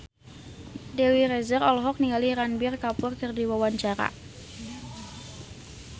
Dewi Rezer olohok ningali Ranbir Kapoor keur diwawancara